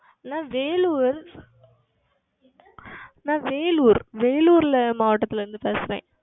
நான் Vellore நான் VelloreVellore ல மாவட்டத்தில் இருந்து பேசுகிறேன்